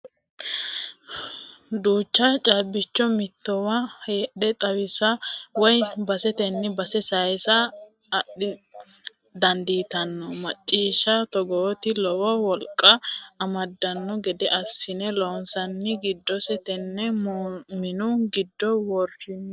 Duucha caabbicho mittowa heedhe xawisa woyi baseteni base saysa dandiittano maashine togooti lowo wolqa amadano gede assine loonsonni giddose tene minu giddo woroni.